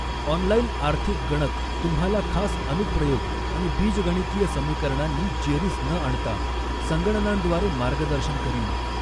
Online आर्थिक गणक तुम्हाला खास अनुप्रयोग आणि बीजगणितीय समीकरणांनी जेरीस न आणता, संगणनांद्वारे मार्गदर्शन करील.